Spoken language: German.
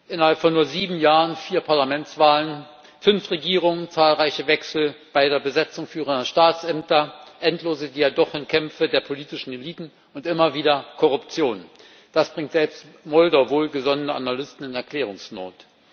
Innerhalb von nur sieben Jahren vier Parlamentswahlen, fünf Regierungen, zahlreiche Wechsel bei der Besetzung führender Staatsämter, endlose Diadochenkämpfe der politischen Eliten und immer wieder Korruption, das bringt selbst Moldau wohlgesonnene Analysten in Erklärungsnot.